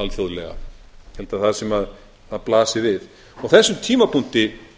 alþjóðlega ég held að það sé það sem blasir við á þessum tímapunkti þegar